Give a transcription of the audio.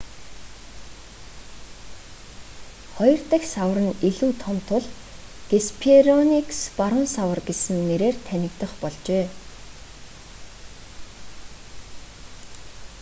хоёр дахь савар нь илүү том тул геспероникус баруун савар гэсэн нэрээр танигдах болжээ